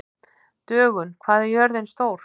Dögun, hvað er jörðin stór?